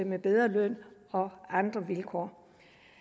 med bedre løn og andre vilkår